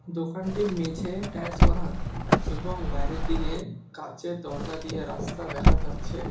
দোকানটির মেঝে টাইলস করা এবং বাইরের দিকে কাঁচের দরজা দিয়ে রাস্তা দেখা যাচ্ছে।